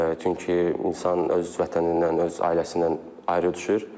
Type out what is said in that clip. Çünki insan öz vətənindən, öz ailəsindən ayrı düşür.